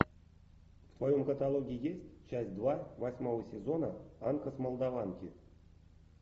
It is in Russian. в твоем каталоге есть часть два восьмого сезона анка с молдаванки